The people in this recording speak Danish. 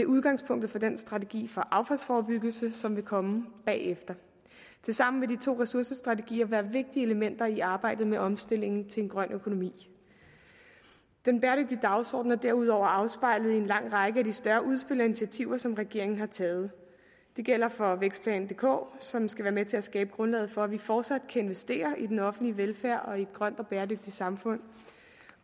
udgangspunktet for den strategi for affaldsforebyggelse som vil komme bagefter tilsammen vil de to ressourcestrategier være vigtige elementer i arbejdet med omstillingen til en grøn økonomi den bæredygtige dagsorden er derudover afspejlet i en lang række af de større udspil og initiativer som regeringen har taget det gælder for vækstplan dk som skal være med til at skabe grundlaget for at vi fortsat kan investere i den offentlige velfærd og i et grønt og bæredygtigt samfund